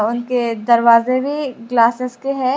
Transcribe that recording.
उनके दरवाजे भी ग्लासेस के है।